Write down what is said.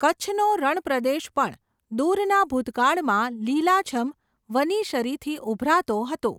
કચ્છનો રણપ્રદેશ પણ, દૂરના ભૂતકાળમા લીલાછમ, વનીશરીથી ઉભરાતો હતો.